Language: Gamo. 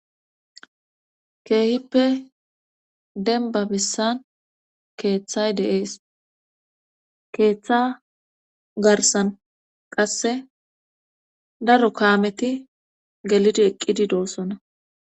keehippe denbabissan keeththay de7ees keeththa garsan qasse daro kaameti gelidi eqqidi doossona